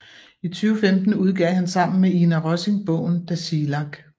I 2015 udgav han sammen med Ina Rosing bogen Tasiilaq